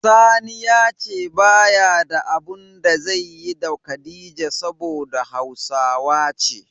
Sani ya ce ba ya da abun da zaiyi da Khadijah saboda hausawa ce.